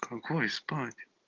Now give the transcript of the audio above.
какой спать